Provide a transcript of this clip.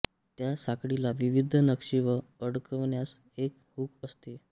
त्या साखळीला विविध नक्षी व अडकवन्यास एक हुक असते